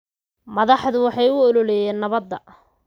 Madaxdu waxay u ololeeyeen nabadda.